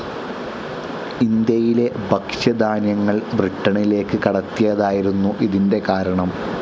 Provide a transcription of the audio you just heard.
ഇന്ത്യയിലെ ഭക്ഷ്യധാന്യങ്ങൾ ബ്രിട്ടനിലേക്ക് കടത്തിയതായിരുന്നു ഇതിന്റെ കാരണം.